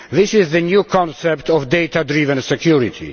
This is the new concept of data driven security.